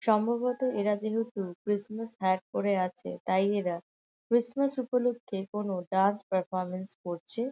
সম্ভবত এরা যেহেতু ক্রিসমাস হ্যাট পরে আছে তাই এরা ক্রিসমাস উপলক্ষে কোনো ডান্স পারফরমেন্স করছে।